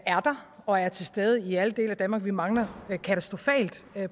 der og er til stede i alle dele af danmark vi mangler katastrofalt